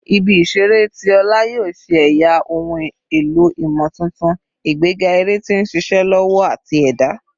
Ibi-iṣere ti ọla yoo ṣe ẹya ohun elo imotuntun, igbega ere ti nṣiṣe lọwọ ati ẹda